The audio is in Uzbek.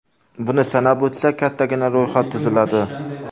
Buni sanab o‘tsak, kattagina ro‘yxat tuziladi.